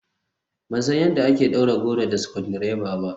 Ban san yadda ake ɗaure goro da screwdriver ba.